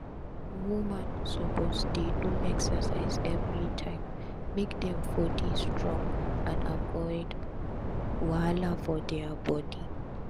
woman suppose dey do exercise everi time make dem for dey strong and avoid wahala for dia bodi